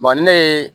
ne ye